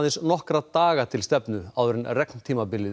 nokkra daga til stefnu áður en